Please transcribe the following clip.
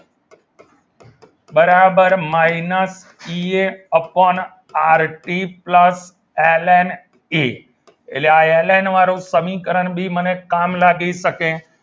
બરાબર minus P A upon R T plus L N T એટલે આ L N વાળું સમીકરણ બી મને કામ લાગી શકે.